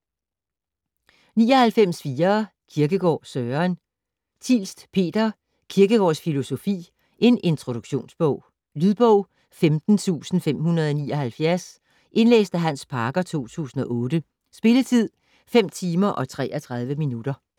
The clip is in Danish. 99.4 Kierkegaard, Søren Thielst, Peter: Kierkegaards filosofi: en introduktionsbog Lydbog 17579 Indlæst af Hans Parker, 2008 Spilletid: 5 timer, 33 minutter.